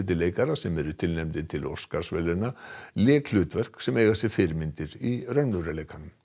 leikara sem eru tilnefndir til Óskarsverðlauna lék hlutverk sem eiga sér fyrirmyndir í raunveruleikanum